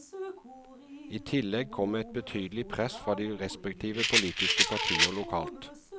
I tillegg kom et betydelig press fra de respektive politiske partier lokalt.